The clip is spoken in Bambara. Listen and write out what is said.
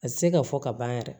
A tɛ se ka fɔ ka ban yɛrɛ